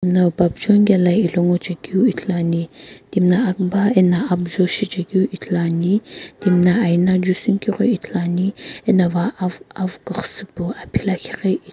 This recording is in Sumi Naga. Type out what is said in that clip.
Timno bapujoni kela ilo ngochekeu ithuluani timina akuba eno apujo shichekeu ithuluani timi na aina jusunikeu ghi ithuluani ena awu kughusupu aphi lakhi ghi --